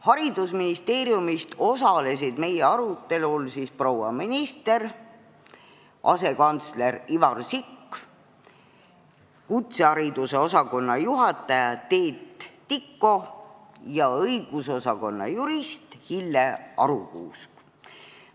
Haridusministeeriumist osalesid meie arutelul proua minister, asekantsler Ivar Sikk, kutsehariduse osakonna juhataja Teet Tiko ja õigusosakonna jurist Hilje Arukuusk.